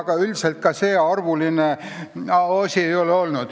Aga üldiselt see rohkearvuline probleem ei ole olnud.